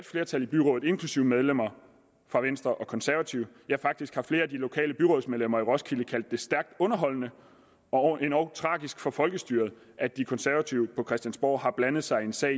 flertal i byrådet inklusive medlemmer af venstre og konservative ja faktisk har flere af de lokale byrådsmedlemmer i roskilde kaldt det stærkt underholdende og endog tragisk for folkestyret at de konservative på christiansborg har blandet sig i en sag